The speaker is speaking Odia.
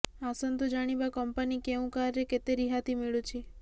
ଆସନ୍ତୁ ଜାଣିବା କମ୍ପାନୀ କେଉଁ କାର୍ ରେ କେତେ ରିହାତି ମିଳୁଛି